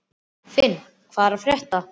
Finn, hvað er að frétta?